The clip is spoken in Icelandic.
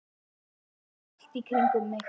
heyri ég hrópað allt í kringum mig.